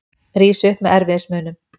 Rís upp með erfiðismunum.